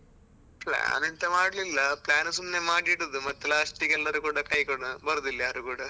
Plan ಎಂತ ಮಾಡ್ಲಿಲ್ಲ plan ಸುಮ್ನೆ ಮಾಡಿ ಇಡುದು ಮತ್ತೆ last ಗೆ ಎಲ್ಲರ್ ಕೂಡ ಕೈ ಕೊಡುದು ಬರುದಿಲ್ಲ ಯಾರು ಕೂಡ.